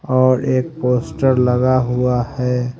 और एक पोस्टर लगा हुआ है।